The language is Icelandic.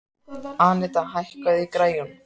Anita, hækkaðu í græjunum.